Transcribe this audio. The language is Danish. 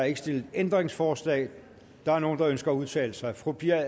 ikke stillet ændringsforslag der er nogle der ønsker at udtale sig fru pia